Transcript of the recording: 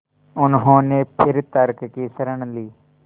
उन्होंने फिर तर्क की शरण ली